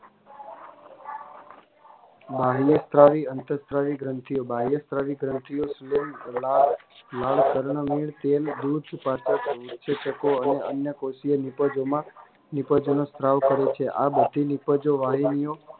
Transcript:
બાહ્યસ્ત્રાવી અંતર્સ્ત્રાવી ગ્રંથિઓ બાહ્યસ્ત્રાવી ગ્રંથિઓ સ્લેય ધોળા લાલ પર્ણ અને અન્ય કોશી નીપજોમાં માં નીપજોનું સ્ત્રાવકરે છે આ બધી નીપજો વાહિનીઓ